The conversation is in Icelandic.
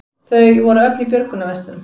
Þau voru öll í björgunarvestum